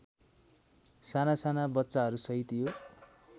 सानासाना बच्चाहरूसहित यो